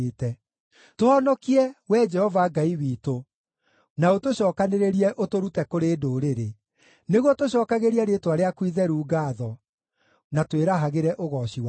Tũhonokie, Wee Jehova Ngai witũ, na ũtũcookanĩrĩrie ũtũrute kũrĩ ndũrĩrĩ, nĩguo tũcookagĩrie rĩĩtwa rĩaku itheru ngaatho, na twĩrahagĩre ũgooci waku.